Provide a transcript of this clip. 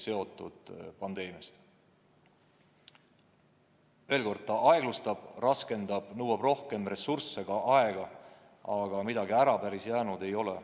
Veel kord, pandeemia aeglustab ja raskendab protsesse, nõuab rohkem ressursse, sh aega, aga midagi päris ära jäänud ei ole.